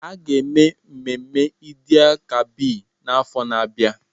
A ga-eme mmemme Eid-el-Kabir n'afọ na-abịa.